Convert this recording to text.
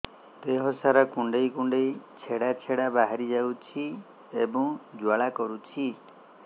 ଦେହ ସାରା କୁଣ୍ଡେଇ କୁଣ୍ଡେଇ ଛେଡ଼ା ଛେଡ଼ା ବାହାରି ଯାଉଛି ଏବଂ ଜ୍ୱାଳା କରୁଛି